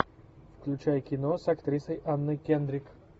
включай кино с актрисой анной кендрик